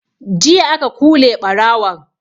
Jiya aka kule ɓarawon